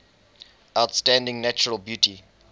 outstanding natural beauty